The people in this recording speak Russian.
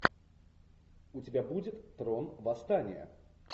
у тебя будет трон восстания